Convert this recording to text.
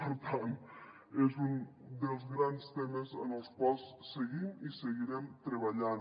per tant és un dels grans temes en els quals seguim i seguirem treballant